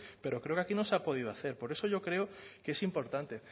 pero creo que aquí no se ha podido hacer por eso yo creo que es importante